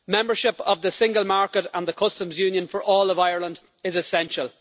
Membership of the single market and the customs union for all of Ireland is essential.